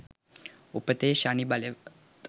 උපතේ ශනි බලවත්